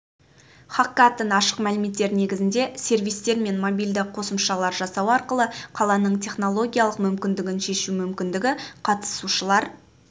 хакатон ашық мәліметтер негізінде сервистер мен мобильді қосымшалар жасау арқылы қаланың технологиялық мүмкіндігін шешу мүмкіндігі қатысушылар